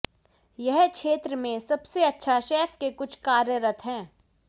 यह क्षेत्र में सबसे अच्छा शेफ के कुछ कार्यरत हैं